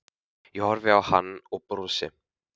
Ég horfi á hann og brosi.